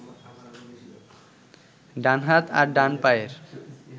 ডান হাত আর ডান পায়ের